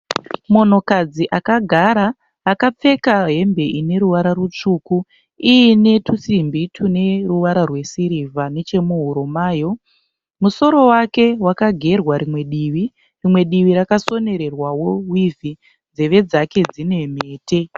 Munhukadzi akagara akapfeka hembe ineruvara rutsvuku, iinetusimbi tuneruvara rwesirivha nechemuhuro mayo. Musoro wake wakagerwa rimwe divi, rimwe divi rakasonererwawo wivhi. Nzeve dzake dzinemhete.